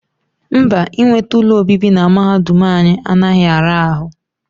Mba, inweta ụlọ obibi na mahadum anyị anaghị ara ahụ